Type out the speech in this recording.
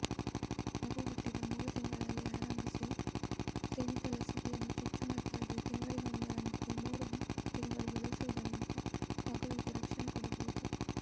ಮಗು ಹುಟ್ಟಿದ ಮೂರು ತಿಂಗಳಲ್ಲೇ ಆರಂಭಿಸಿ ತ್ರಿವಿಧ ಲಸಿಕೆಯನ್ನು ಚುಚ್ಚುಮದ್ದಾಗಿ ತಿಂಗಳಿಗೊಂದರಂತೆ ಮೂರು ತಿಂಗಳು ಬಳಸುವುದರಿಂದ ಮಗುವಿಗೆ ರಕ್ಷಣೆ ಕೊಡಬಹುದು